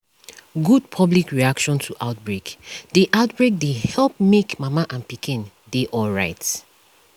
good public reaction to outbreak dey outbreak dey help make mama and pikin dey alright